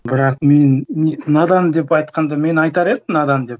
бірақ мен надан деп айтқанды мен айтар едім надан деп